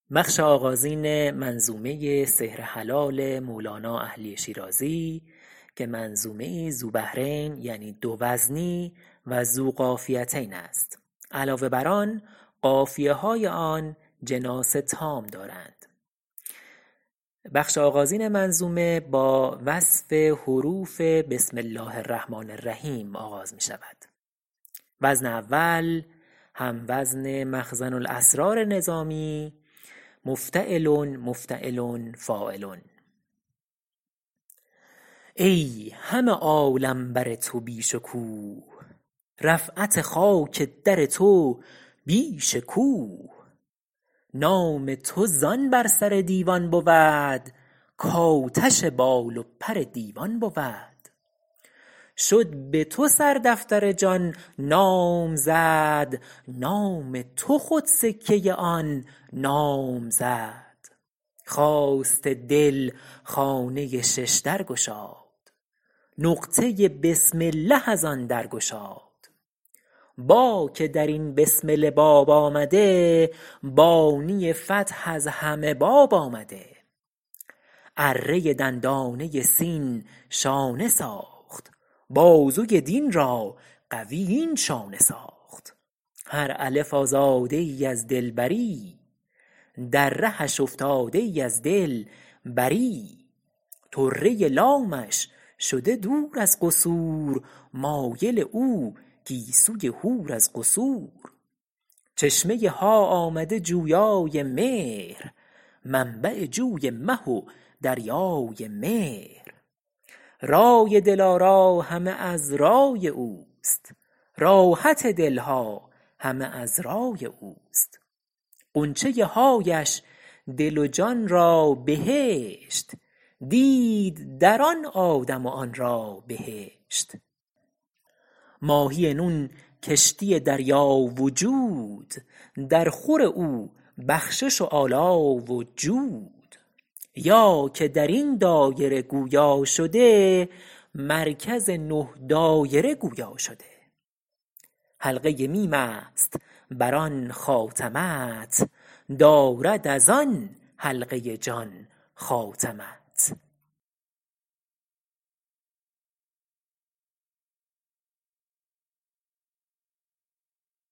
ای همه عالم بر تو بی شکوه رفعت خاک در تو بیش کوه نام تو زآن بر سر دیوان بود کآتش بال و پر دیوان بود شد به تو سردفتر جان نامزد نام تو خود سکه آن نام زد خواست دل خانه ششدر گشاد نقطه بسم الله از آن درگشاد با که در این بسمله باب آمده بانی فتح از همه باب آمده اره دندانه سین شانه ساخت بازوی دین را قوی این شانه ساخت هر الف آزاده ای از دلبری در رهش افتاده ای از دل بری طره لامش شده دور از قصور مایل او گیسوی حور از قصور چشمه ها آمده جویای مهر منبع جوی مه و دریای مهر رای دل آرا همه از رای اوست راحت دل ها همه از رای اوست غنچه حایش دل و جان را بهشت دید در آن آدم و آن را بهشت ماهی نون کشتی دریا وجود در خور او بخشش و آلا و جود یا که در این دایره گویا شده مرکز نه دایره گویا شده حلقه میم است بر آن خاتمت دارد از آن حلقه جان خاتمت